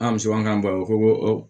An musoman b'a o ko